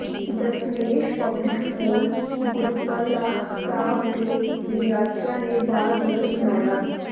Dasmesh public school Gurplah Sahib ਦੇ ਵਿਦਿਆਰਥੀਆਂ ਨੇ ਬਾਲ ਦਿਵਸ ਮਨਾਇਆ